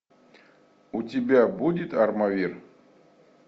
у тебя будет армавир